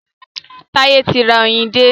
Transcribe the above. Táyé ti ra oyin dé.